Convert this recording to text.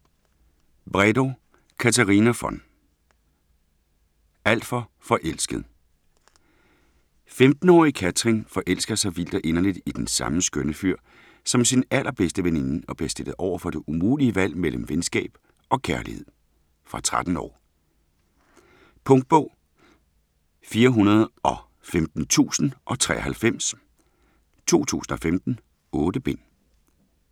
Bredow, Katarina von: Alt for forelsket 15-årige Katrin forelsker sig vildt og inderligt i den samme skønne fyr som sin allerbedste veninde og bliver stillet over for det umulige valg mellem venskab og kærlighed. Fra 13 år. Punktbog 415093 2015. 8 bind.